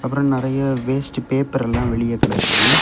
அப்புறம் நறைய வேஸ்ட் பேப்பரெல்லாம் வெளியே கிடக்குது.